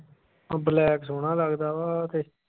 black ਸੋਹਣਾ ਲੱਗਦਾ ਵਾਂ ਆਹ ਤੇ